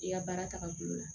I ka baara tagabolo la